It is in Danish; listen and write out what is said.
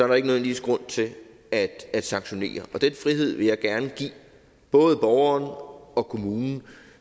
der ikke nødvendigvis grund til at at sanktionere og den frihed vil jeg gerne give både borgeren og kommunen